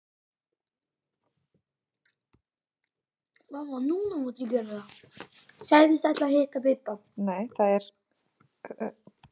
Sagðist ætla að hitta Bibba.